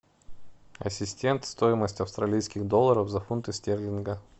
ассистент стоимость австралийских долларов за фунты стерлинга